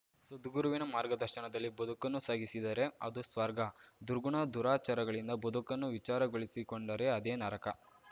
ಸದ್ಗುರುವಿನ ಮಾರ್ಗದರ್ಶನದಲ್ಲಿ ಬದುಕನ್ನು ಸಾಗಿಸಿದರೇ ಅದು ಸ್ವರ್ಗ ದುರ್ಗುಣ ದುರಾಚಾರಗಳಿಂದ ಬದುಕನ್ನು ವಿಚಾರಗೊಳಿಸಿಕೊಂಡರೇ ಅದೇ ನರಕ